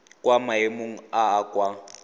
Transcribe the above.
kwa maemong a a kwa